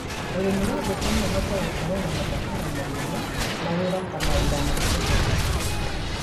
ũrĩmi wa ngũkũ no ũhote gũkorwo na mabataro manene na wĩrata mawĩra ma kũhe irio,